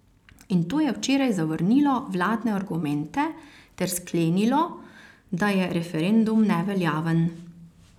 In to je včeraj zavrnilo vladne argumente ter sklenilo, da je referendum neveljaven.